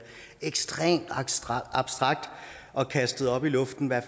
ekstremt abstrakt abstrakt og kastet op i luften hvad